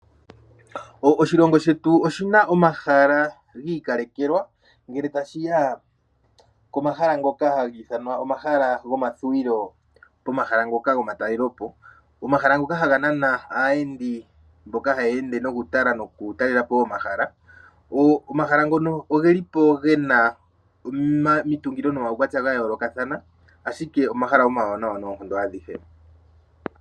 Oshilongo shetu oshi na omahala gi ikalekelwa, ngele tashi ya komahala ngoka hagi ithanwa omahala gomathuwilo, komahala ngoka gomatalolopo. Omahala ngoka haga nana aayendi, mboka haya ende nokutala nokutalelapo omahala. Omahala ngono ogeli po ge na omitungilo nomaukwatya gayoolokathana ashike omahala omawanawa noonkondo adhihe.